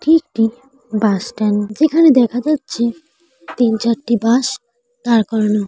এটি একটি bus stand যেখানে দেখা যাচ্ছে তিন চারটি বাস দাঁড় করানো।